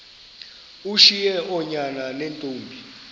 ushiye oonyana neentombi